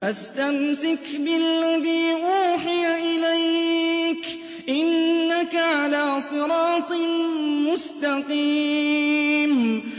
فَاسْتَمْسِكْ بِالَّذِي أُوحِيَ إِلَيْكَ ۖ إِنَّكَ عَلَىٰ صِرَاطٍ مُّسْتَقِيمٍ